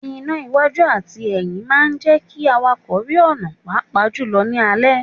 Iná iwájú àti ẹyín máa ń jẹ́ kí àwàkọ̀ rí ọ̀nà pàápàá jù lọ ní alẹ́.